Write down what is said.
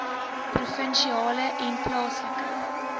provinsiale en plaaslike